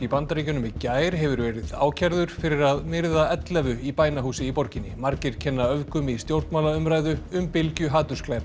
í Bandaríkjunum í gær hefur verið ákærður fyrir að myrða ellefu í bænahúsi í borginni margir kenna öfgum í stjórnmálaumræðu um bylgju